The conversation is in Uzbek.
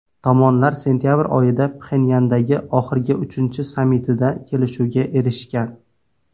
Tomonlar sentyabr oyida Pxenyandagi oxirgi, uchinchi sammitida kelishuvga erishgan.